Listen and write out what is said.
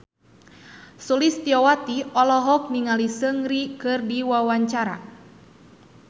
Sulistyowati olohok ningali Seungri keur diwawancara